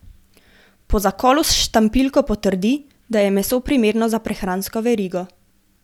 Po zakolu s štampiljko potrdi, da je meso primerno za prehransko verigo.